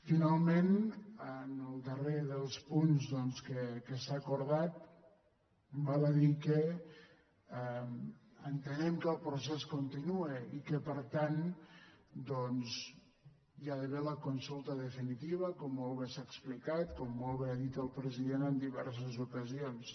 finalment en el darrer dels punts doncs que s’ha acordat val a dir que entenem que el procés continua i que per tant hi ha d’haver la consulta definitiva com molt bé s’ha explicat com molt bé ha dit el presi·dent en diverses ocasions